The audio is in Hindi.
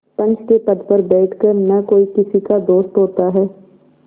पंच के पद पर बैठ कर न कोई किसी का दोस्त होता है